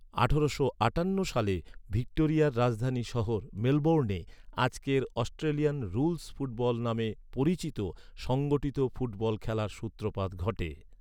আঠারোশো আটান্ন সালে ভিক্টোরিয়ার রাজধানী শহর মেলবোর্নে আজকের অস্ট্রেলিয়ান রুলস ফুটবল নামে পরিচিত সংগঠিত ফুটবল খেলার সূত্রপাত ঘটে।